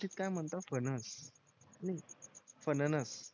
काय म्हणता फणस नाही फणणस